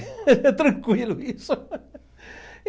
É tranquilo isso.